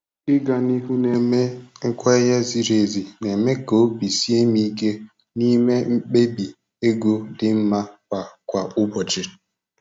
Ịga n'ihu na-eme nkwenye ziri ezi na-eme ka obi sie m ike na-ịme mkpebi ego dị mma kwa kwa ụbọchị.